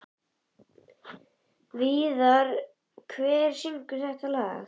Víðar, hver syngur þetta lag?